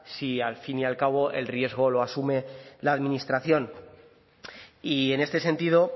si al fin y al cabo el riesgo lo asume la administración y en este sentido